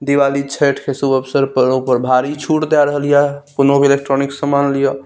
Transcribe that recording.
दिवाली छठ के शुभ अवसर पर ऊपर भारी छुट दे रहलिए कोवनो इलेक्ट्रॉनिक्स समान लिए --